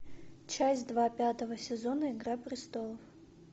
часть два пятого сезона игра престолов